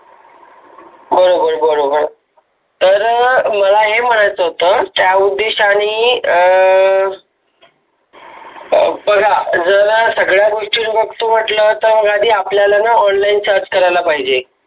बरोबर बरोबर, तर मला हे मनायच होत त्या उद्देशाने अं ह बघा जरा सगळ्यांनी बघितलं म्हटलं तर कधी आपल्याला online search करायला पाहिजे.